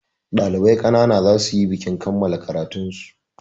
Ɗalibai ƙanana za su yi bikin kammala karatun su.